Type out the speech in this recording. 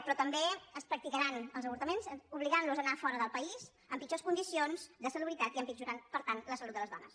però també es practicaran els avortaments obligant les a anar fora del país en pitjors condicions de salubritat i empitjorarà per tant la salut de les dones